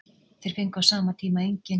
Þeir fengu á sama tíma engin.